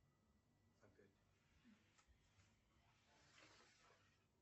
опять